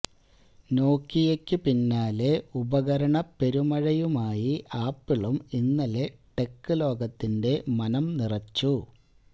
നോകിയയ്ക്കു പിന്നാലെ ഉപകരണപ്പെരുമഴയുമായി ആപ്പിളും ഇന്നലെ ടെക് ലോകത്തിന്റെ മനം നിറച്ചു